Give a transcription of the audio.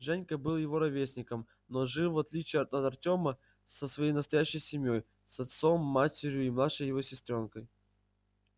женька был его ровесником но жил в отличие от артёма со своей настоящей семьёй с отцом матерью и младшей его сестрёнкой